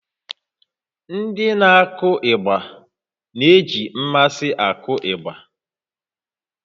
Ndị na-akụ ịgba na-eji mmasị akụ ịgbà